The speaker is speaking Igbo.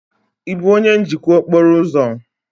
Ị bụ onye njikwa okporo ụzọ?